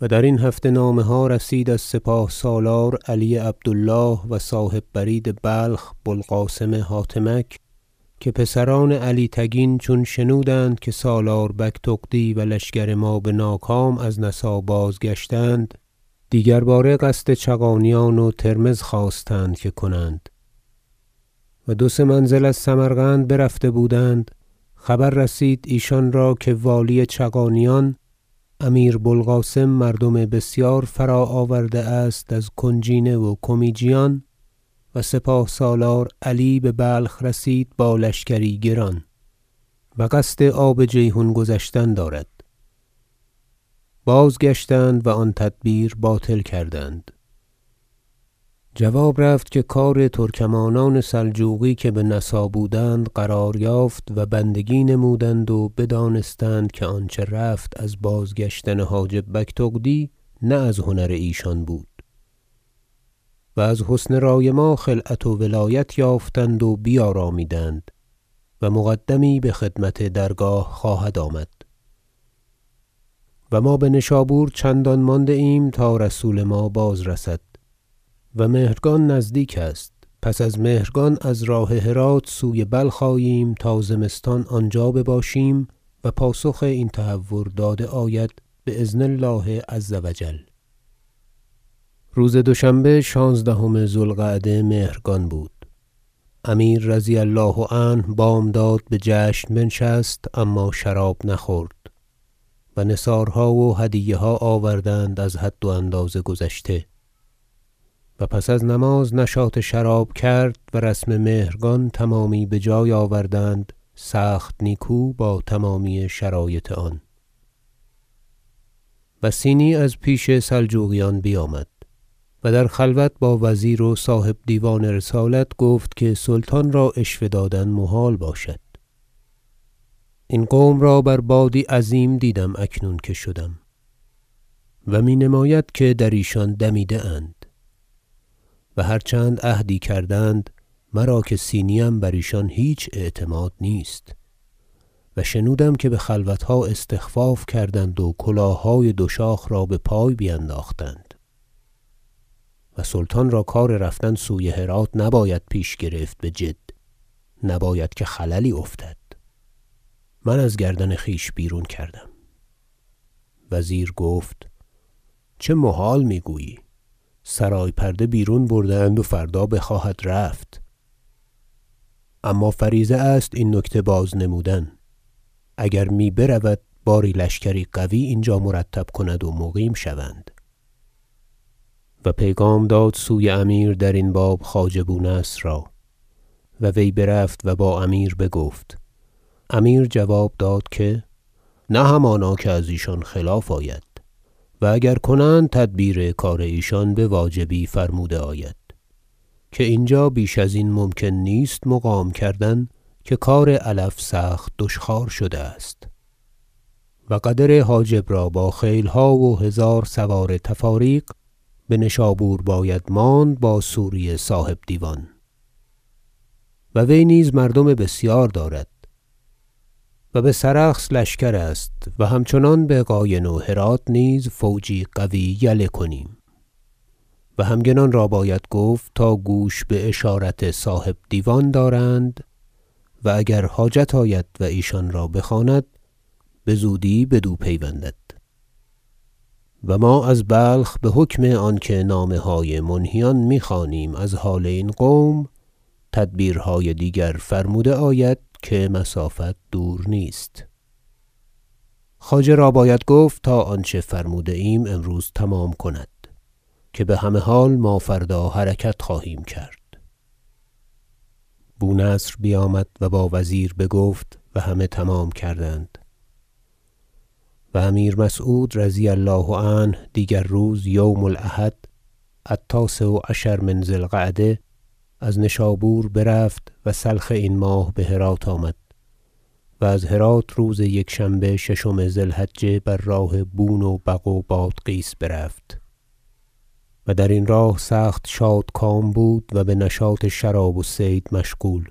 و درین هفته نامه ها رسید از سپاه سالار علی عبد الله و صاحب برید بلخ بو القاسم حاتمک که پسران علی تگین چون شنودند که سالار بگتغدی و لشکر ما بناکام از نسا بازگشتند دیگر باره قصد چغانیان و ترمذ خواستند که کنند و دو سه منزل از سمرقند برفته بودند خبر رسید ایشان را که والی چغانیان امیر بوالقاسم مردم بسیار فراآورده است از کنجینه و کمیجیان و سپاه سالار علی ببلخ رسید با لشکری گران و قصد آب جیحون گذشتن دارد بازگشتند و آن تدبیر باطل کردند جواب رفت که کار ترکمانان سلجوقی که بنسا بودند قرار یافت و بندگی نمودند و بدانستند که آنچه رفت از باز- گشتن حاجب بگتغدی نه از هنر ایشان بود و از حسن رای ما خلعت و ولایت یافتند و بیارامیدند و مقدمی بخدمت درگاه خواهد آمد و ما بنشابور چندان مانده ایم تا رسول ما بازرسد و مهرگان نزدیک است پس از مهرگان از راه هرات سوی بلخ آییم تا زمستان آنجا بباشیم و پاسخ این تهور داده آید بأذن الله عز و جل روز دوشنبه شانزدهم ذو القعده مهرگان بود امیر رضی الله عنه بامداد بجشن بنشست اما شراب نخورد و نثارها و هدیه ها آوردند از حد و اندازه گذشته و پس از نماز نشاط شراب کرد و رسم مهرگان تمامی بجای آوردند سخت نیکو با تمامی شرایط آن وصینی از پیش سلجوقیان بیامد و در خلوت با وزیر و صاحب دیوان رسالت گفت که سلطان را عشوه دادن محال باشد این قوم را بر بادی عظیم دیدم اکنون که شدم و مینماید که در ایشان دمیده اند و هر چند عهدی کردند مرا که صینی ام بر ایشان هیچ اعتماد نیست و شنودم که بخلوتها استخفاف کردند و کلاههای دو شاخ را بپای بینداختند و سلطان را کار رفتن سوی هرات پیش نباید گرفت بجد نباید که خللی افتد من از گردن خویش بیرون کردم وزیر گفت چه محال میگویی سرای پرده بیرون برده اند و فردا بخواهد رفت اما فریضه است این نکته بازنمودن اگر می برود باری لشکری قوی اینجا مرتب کند و مقیم شوند و پیغام داد سوی امیر درین باب خواجه بونصر را و وی برفت و با امیر بگفت امیر جواب داد که نه همانا که از ایشان خلاف آید و اگر کنند تدبیر کار ایشان بواجبی فرموده آید که اینجا بیش ازین ممکن نیست مقام کردن که کار علف سخت دشخوار شده است و قدر حاجب را با خیلها و هزار سوار تفاریق بنشابور باید ماند با سوری صاحب دیوان و وی نیز مردم بسیار دارد و بسرخس لشکر است و همچنان بقاین و هرات نیز فوجی قوی یله کنیم و همگنان را باید گفت تا گوش باشارت صاحب دیوان دارند و اگر حاجت آید و ایشان را بخواند بزودی بدو پیوندد و ما از بلخ بحکم آنکه نامه های منهیان میخوانیم از حال این قوم تدبیرهای دیگر فرموده آید که مسافت دور نیست خواجه را باید گفت تا آنچه فرموده ایم امروز تمام کند که بهمه حال ما فردا حرکت خواهیم کرد بونصر بیامد و با وزیر بگفت و همه تمام کردند و امیر مسعود رضی الله عنه دیگر روز یوم الاحد التاسع عشر من ذی القعدة از نشابور برفت و سلخ این ماه بهرات آمد و از هرات روز یکشنبه ششم ذی الحجه بر راه بون و بغ و بادغیس برفت و درین راه سخت شادکام بود و بنشاط شراب و صید مشغول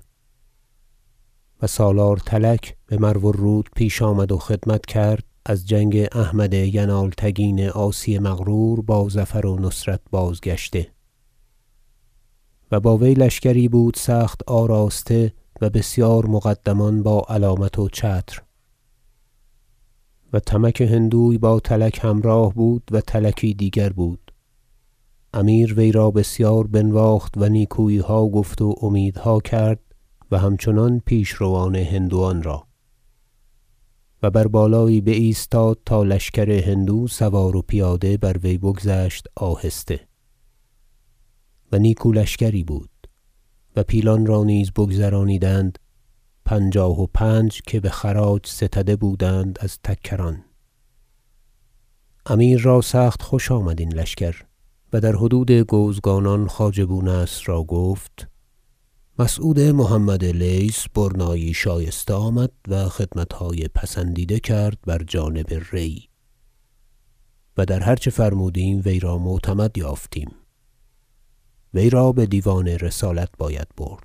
و سالار تلک بمرو الرود پیش آمد و خدمت کرد از جنگ احمد ینالتگین عاصی مغرور با ظفر و نصرت بازگشته و با وی لشکری بود سخت آراسته و بسیار مقدمان با علامت و چتر و تمک هندوی با تلک همراه بود و تلکی دیگر بود امیر وی را بسیار بنواخت و نیکوییها گفت و امیدها کرد و همچنان پیشروان هندوان را و بر بالایی بایستاد تا لشکر هندو سوار و پیاده بر وی بگذشت آهسته و نیکو لشکری بود و پیلان را نیز بگذرانیدند پنجاه و پنج که بخراج ستده بودند از تکران امیر را سخت خوش آمد این لشکر و در حدود گوزگانان خواجه بونصر را گفت مسعود محمد لیث برنایی شایسته آمد و خدمتهای پسندیده کرد بر جانب ری و در هر چه فرمودیم وی را معتمد یافتیم وی را بدیوان رسالت باید برد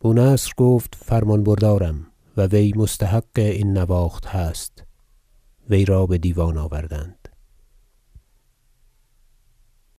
بونصر گفت فرمان بردارم و وی مستحق این نواخت هست وی را بدیوان آوردند